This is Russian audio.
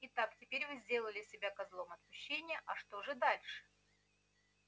итак теперь вы сделали себя козлом отпущения а что же дальше